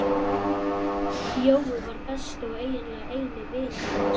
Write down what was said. Jói var besti og eiginlega eini vinur hans.